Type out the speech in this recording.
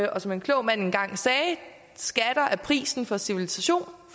og som en klog mand engang sagde skatter er prisen for civilisation